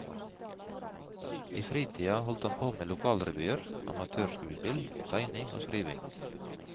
I fritida holdt han på med lokalrevyer, amatørskuespill, tegning og skriving.